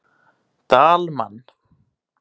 Dalmann